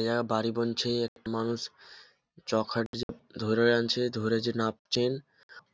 এরা বাড়ি বানছে একটা মানুষ চকার ধরে আছে ধরে যে নামছেন